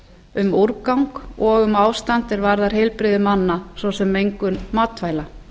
um úrgang og um ástand sem varðar heilbrigði manna svo sem mengun matvæla